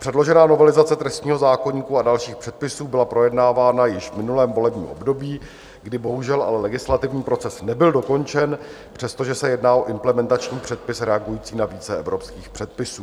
Předložená novelizace trestního zákoníku a dalších předpisů byla projednávána již v minulém volebním období, kdy bohužel ale legislativní proces nebyl dokončen, přestože se jedná o implementační předpis reagující na více evropských předpisů.